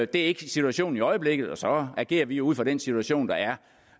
det er ikke situationen i øjeblikket og så agerer vi ud fra den situation der